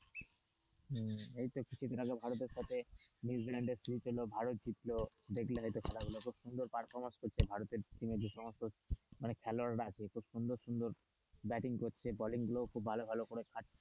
এইতো কিছুদিন আগে ভারতের সাথে নিউজিল্যান্ডের খেলা ছিল ভারত জিতল দেখলে হয়তো খেলা গুলো খুব সুন্দর permission করছে ভারতের মানে খেলোয়াড়রা আছে খুব সুন্দর সুন্দর ব্যাটিং করছে বোলিং গুলোও খুব ভালো ভালো করে ছাড়ছে,